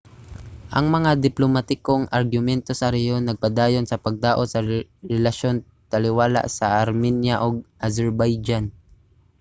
ang mga diplomatikong argumento sa rehiyon nagpadayon sa pagdaot sa relasyon taliwala sa armenia ug azerbaijan